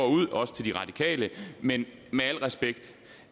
også til de radikale men med al respekt